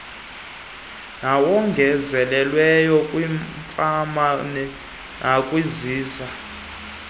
nawongezelelweyo kwiifama nakwiziza